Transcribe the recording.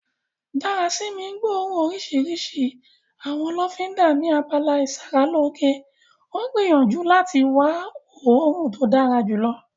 Darasimi ń gbóòórùn orísìírísìí àwọn lọ́fíńdà ni abala ìsaralóge, ó ń gbìyànjú láti wá òórùn tó dára jùlọ.